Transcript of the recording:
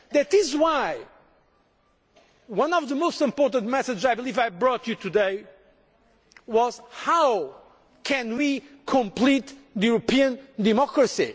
That is why one of the most important messages that I believe I brought you today was How can we complete European democracy?